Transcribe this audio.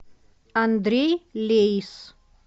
андрей лейс